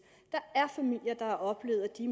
der er familier der har oplevet at de